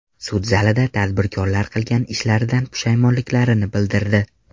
Sud zalida tadbirkorlar qilgan ishlaridan pushaymonliklarini bildirdi.